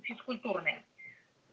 физкультурная